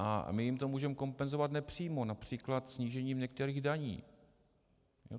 A my jim to můžeme kompenzovat nepřímo, například snížením některých daní.